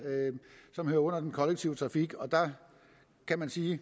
som hører under den kollektive trafik og der kan man sige